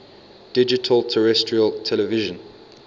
digital terrestrial television